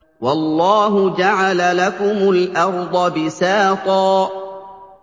وَاللَّهُ جَعَلَ لَكُمُ الْأَرْضَ بِسَاطًا